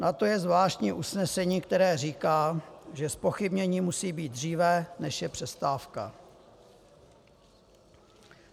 Na to je zvláštní usnesení, které říká, že zpochybnění musí být dříve, než je přestávka.